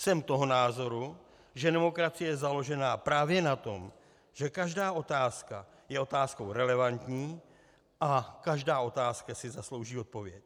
Jsem toho názoru, že demokracie je založená právě na tom, že každá otázka je otázkou relevantní a každá otázka si zaslouží odpověď.